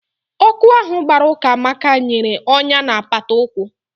Ọkụ ahụ gbara Ukamaka nyere ọnyá na apata ụkwụ.